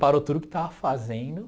Parou tudo o que estava fazendo.